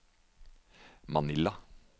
Manila